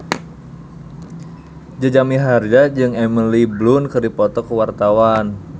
Jaja Mihardja jeung Emily Blunt keur dipoto ku wartawan